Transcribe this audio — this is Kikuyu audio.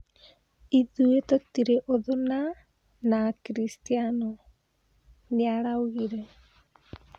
"Ithuĩ tũtĩrĩ ũthũ na na akristiano", nĩaraugire.